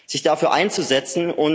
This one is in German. sich dafür einzusetzen.